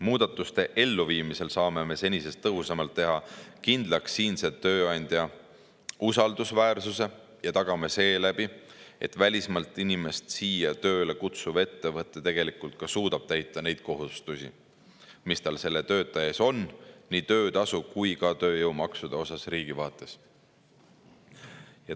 Muudatuste elluviimisel saame me senisest tõhusamalt teha kindlaks siinse tööandja usaldusväärsuse ja tagame seeläbi, et välismaalt inimest siia tööle kutsuv ettevõte ka tegelikult suudab täita neid kohustusi, mis tal selle töötaja ees on nii töötasu kui ka tööjõumaksude osas riigi vaates.